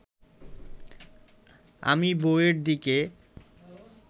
আমি বউয়ের দিকে